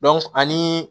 ani